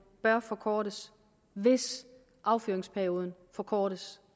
bør forkortes hvis affyringsperioden forkortes